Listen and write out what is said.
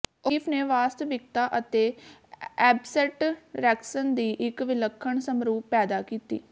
O'Keeffe ਨੇ ਵਾਸਤਵਿਕਤਾ ਅਤੇ ਐਬਸਟਰੈਕਸ਼ਨ ਦੀ ਇੱਕ ਵਿਲੱਖਣ ਸਮਰੂਪ ਪੈਦਾ ਕੀਤੀ